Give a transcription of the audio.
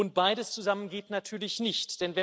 Und beides zusammen geht natürlich nicht.